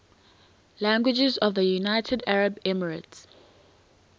languages of the united arab emirates